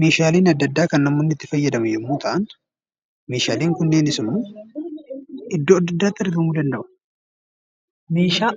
Meeshaaleen adda addaa kan namoonni itti fayyadaman yommuu ta'an, meeshaaleen kunneenis iddoo adda addaatti argamuu danda'u. Meeshaa